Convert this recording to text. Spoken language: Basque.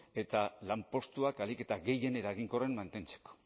eta lanpostuak ahalik eta gehien eraginkorren mantentzeko